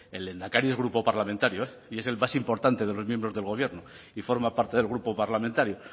el lehendakari es grupo parlamentario eh y es el más importante de los miembros del gobierno y forma parte del grupo parlamentario